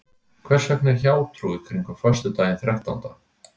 Hvers vegna er hjátrú kringum föstudaginn þrettánda?